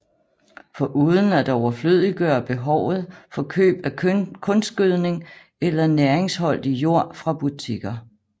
Foruden at overflødiggøre behovet for køb af kunstgødning eller næringsholdig jord fra butikker